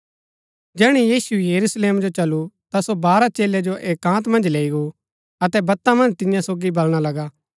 जैहणै यीशु यरूशलेम जो चलु ता सो बारह चेलै जो एकान्त मन्ज लैई गो अतै बत्ता मन्ज तियां सोगी बलणा लगा